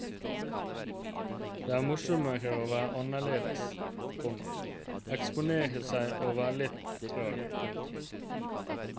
Det er morsommere å være annerledes, komma eksponere seg og være litt rar. punktum